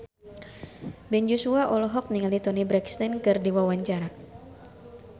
Ben Joshua olohok ningali Toni Brexton keur diwawancara